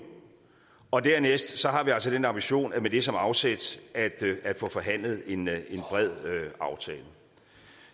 og dernæst har vi altså den ambition med det som afsæt at få forhandlet en bred aftale